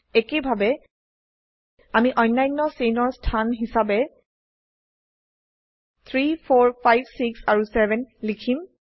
একেইভাবে আমি অন্যান্য চেইনৰ স্থান হিসাবে 3 4 5 6 আৰু 7 লিখিম